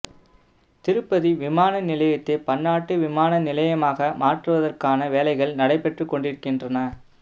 திருப்பதி விமான நிலையத்தை பன்னாட்டு விமான நிலையமாக மாற்றுவதற்கான வேலைகள் நடைபெற்றுக்கொண்டிருக்கின்றன